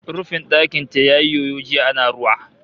Rufin ɗakin ta yayi yoyo jiya ana ruwa